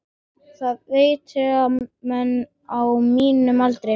Það veitir ekki af fyrir menn á mínum aldri.